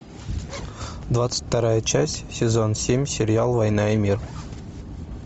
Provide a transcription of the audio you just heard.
двадцать вторая часть сезон семь сериал война и мир